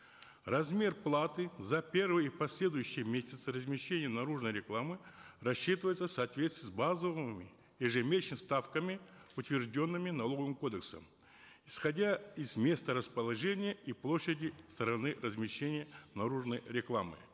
размер платы за первый и последующие месяцы размещения наружной рекламы рассчитывается в соответствии с базовыми ставками утвержденными налоговым кодексом исходя из места расположения и площади стороны размещения наружной рекламы